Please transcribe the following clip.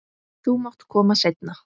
Þú mátt koma seinna.